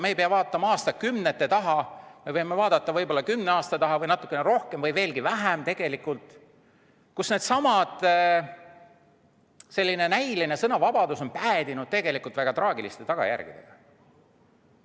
Me ei pea vaatama aastakümnete taha, me võime vaadata ka kümne aasta taha või natukene kaugemale või lähemale, kui selline näiline sõnavabadus on päädinud väga traagiliste tagajärgedega.